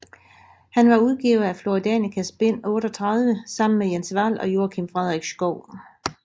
Han var udgiver af Flora Danicas bind 38 sammen med Jens Vahl og Joakim Frederik Schouw